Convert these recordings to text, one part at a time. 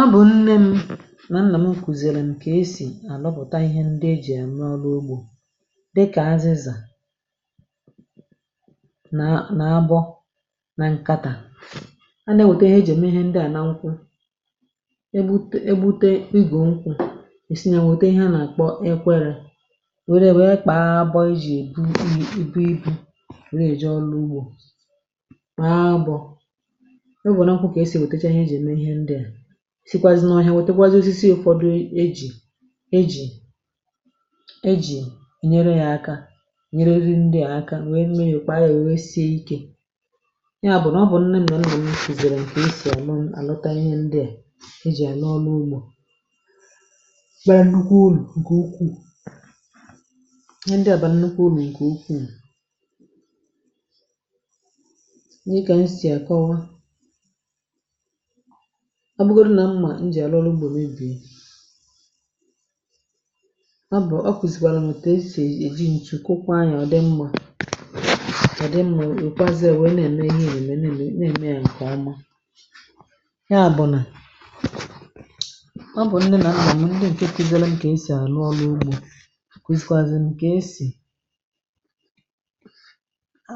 ọ bụ̀ nne m nà nnà m kùzìrì m kà esì àlọpụ̀ta ihe ndị e jì àmụ ọlụ ugbȯ, dịkà azịzà nà abọ, na nkatà, ande wète ihe jème, ihe ndị à na nkwụ e bute, e bute igò nkwụ̇, è sinye, wète ihe a nà àkpọ ekwėrè, wère wèe kpaa abọ a jì èbu ihe ibu ibu̇, a wère jì ọlụ ugbȯ, sikwazina ụnụ ahịa. Wètekwazị osisi, ụ̀fọdụ ejì ejì ejì ènyere ya aka, ènyererị ndị à aka, nwẹ nwẹ kpa ayị, wẹ sie ikė, ya bụ̀ nà ọ bụ̀ nnẹ m̀mẹ m̀mụ m kìzèrè ǹkẹ̀ isi, à nọ àlọta ihe ndị à ejì à nọ ọlụ ugbȯ. ǹkpẹẹ nnukwu ulù ǹkẹ ukwù, ihe ndị ọ̀bànǹnukwu ulù ǹkẹ ukwù, ọ bụrụ nà mmà i jì àlụ ọrụ ugbȯ n’ebì ya, bụ̀ ọ kwụ̀sị̀kwàrà nà èsi̇ èji ǹtụ kwụkwa anyị̀. Ọ dị mmȧ, ọ dị mmȧ ì kwazịa wụ̀, ị nȧ ẹ̀mẹ ihe, ì rèmẹ nà ì nà ème ya ǹkè ọma, ya bụ̀ nà ọ bụ̀ ndị nà mmȧ nwà, ndị ǹkẹ̀tịdịrị, ǹkè esì ànụ ọlụ ugbȯ, kwụsịkwazị ǹkè esì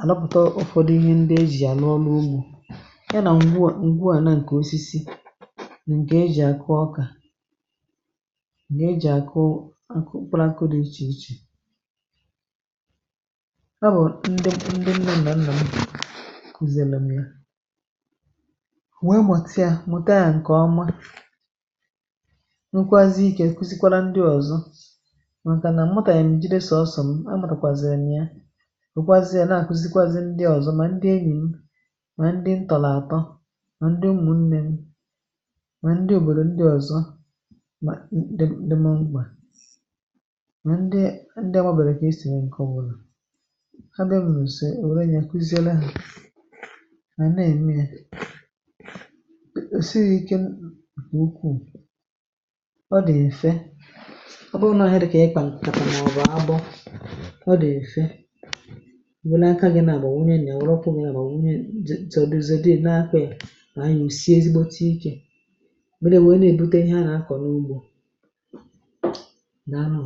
ànọpụ̀ta ụfọdụ ihe ndị e jì ànụ ọlụ ugbȯ. ǹkè e jì àkụ ọkà, ǹkè e jì àkụ òkù, bụrụ akụ̇ dị̇ ichè ichè, ọ bụ̀ ndị ndị ǹnọ̀ nnọ̀ m kùzìlọ̀ m ya, nwẹ mùtịa, mute a ǹkè ọma. Nkwazịkwara ndị ọ̀zọ, nkwazịkwara ndị ọ̀zọ, màkà nà mmụtà yà m jì, dịsọ̇ sọ̀ ọsọ̀, m a nàrọ̀kwàzị̀rị̀ nà ya, ǹkwazịkwara ya nà àkụzịkwazị ndị ọ̀zọ, mà ndị enyì m, mà ndị ǹtọ̀là àtọ, mà ndị òbòdò ndị ọ̀zọ, mà ndị ndị mọm mkpà, mà ndị ndị ọ̀bọbị̀rị̀, kà è sì nwẹ ǹkọ̀, bụrụ̀ ha dị̀ m nà ùsè o, rẹnyẹ kwusìere hȧ, mà nẹẹ̀ mẹẹ, sị yȧ ike, m bù n’ukwuù. Ọ dị̀ ẹ̀fẹ, ọ bụrụ nọ̇ ahụ̀, nà ọ kà ị kpàpàrụ̀, mà ọ̀bụ̀ abụ̇, ọ dị̀ ẹ̀fẹ ijėlẹ aka gị, nà bà nwunye, nyàro okwu, nà bà nwunye, chọdùzì, zėdè ẹ̀nẹ akwẹ̀. Ya mere, wee nà-ebute ihe a na-akọ n’ugbȯ na arụ̇.